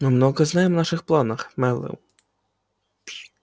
мы много знаем о ваших планах мэллоу